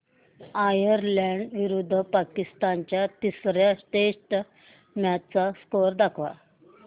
Ireland विरुद्ध पाकिस्तान च्या तिसर्या टेस्ट मॅच चा स्कोअर दाखवा